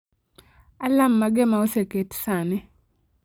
alarm mage ma oseket sani